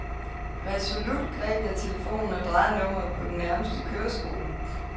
Resolut greb jeg telefonen og drejede nummeret på den nærmeste køreskole.